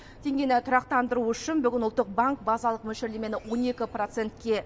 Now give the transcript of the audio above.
теңгені тұрақтандыру үшін бүгін ұлттық банк базалық мөлшерлемені он екі процентке